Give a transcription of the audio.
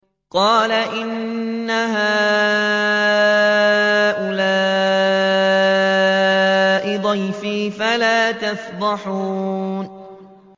قَالَ إِنَّ هَٰؤُلَاءِ ضَيْفِي فَلَا تَفْضَحُونِ